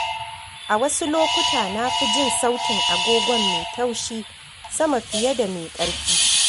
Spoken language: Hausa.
A wasu lokuta, na fi jin sautin agogon mai taushi sama fiye da mai ƙarfi.